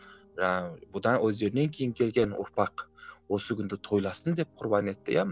жаңағы бұдан өздерінен кейін келген ұрпақ осы күнді тойласын деп құрбан етті иә